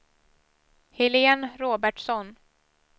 Helene Robertsson